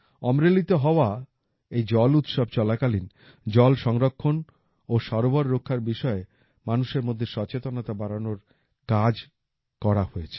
অমরেলিতে হওয়া এই জল উৎসব চলাকালীন জল সংরক্ষণ ও সরোবর রক্ষার বিষয়ে মানুষের মধ্যে সচেতনতা বাড়ানোর কাজ করা হয়েছে